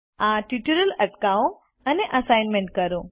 આ ટ્યુટોરીયલ અટકાવો અને અસાઈનમેન્ટ કરો